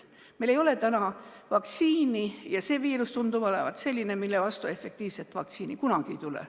Meil ei ole täna vaktsiini ja see viirus tundub olevat selline, mille vastu efektiivset vaktsiini kunagi ei tulegi.